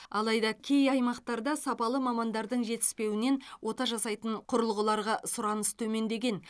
алайда кей аймақтарда сапалы мамандардың жетіспеуінен ота жасайтын құрылғыларға сұраныс төмендеген